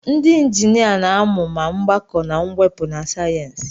ndị injinia na-amụ ma mgbakọ na mwepụ na sayensị